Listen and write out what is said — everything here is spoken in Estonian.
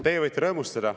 Teie võite rõõmustada.